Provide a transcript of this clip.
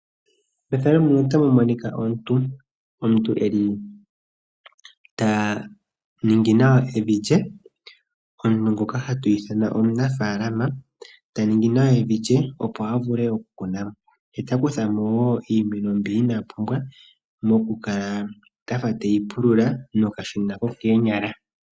Omuntu ngono ta ningi nawa evi lye nohi ithanwa omunafaalama ta ningi nawa evi lye, nopo a vule okukunamo nokukuthamo iimeno mbyono ina pumbwa nokukala afa tapululamo nokashina hoka kokoonyala.